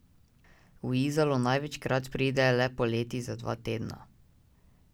V Izolo največkrat pride le poleti za dva tedna.